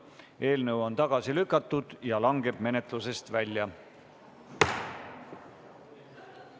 Eelnõu on tagasi lükatud ja langeb menetlusest välja.